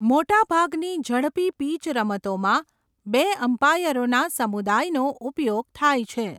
મોટાભાગની ઝડપી પિચ રમતોમાં બે અમ્પાયરોના સમુદાયનો ઉપયોગ થાય છે.